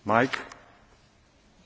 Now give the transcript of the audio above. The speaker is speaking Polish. Dziękuję Panie Przewodniczący!